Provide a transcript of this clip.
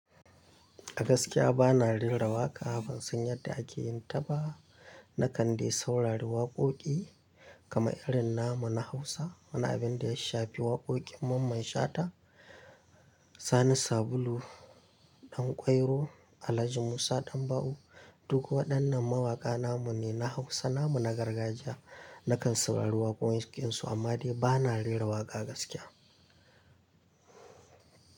A gaskiya bana rera waƙa, ban san yadda ake yin ta ba. Na kande saurari waƙoƙi kamar irin namu na Hausa, wani abin da ya shafi waƙoƙin Mamman Shata, Sani Sabulu Ɗanƙwairo, Alhaji Musa Ɗanba'u. Duk waɗannan mawaƙa namun ne na Hausa, namun na gargajiya. Na kan saurari waƙoƙinsu amma dai bana rera waƙa gaskiya.